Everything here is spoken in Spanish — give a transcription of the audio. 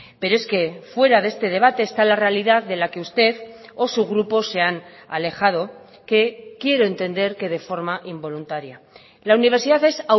pero es que fuera de este debate está la realidad de la que usted o su grupo se han alejado que quiero entender que de forma involuntaria la universidad es